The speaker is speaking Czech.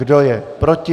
Kdo je proti?